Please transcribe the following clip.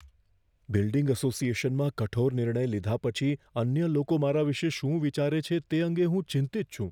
Building એસોસિએશનમાં કઠોર નિર્ણય લીધા પછી અન્ય લોકો મારા વિશે શું વિચારે છે તે અંગે હું ચિંતિત છું.